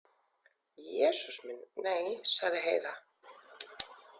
Jesús minn, nei, sagði Heiða.